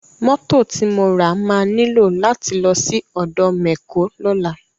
Mọ́tò ti mo ra máa nílò láti lọ́ sí ọ̀dọ̀ mẹ̀kó lọ́la.